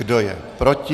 Kdo je proti?